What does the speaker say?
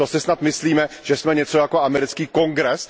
To si snad myslíme, že jsme něco jako americký Kongres?